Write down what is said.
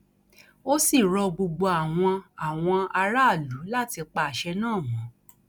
ó sì rọ gbogbo àwọn àwọn aráàlú láti pa àṣẹ náà mọ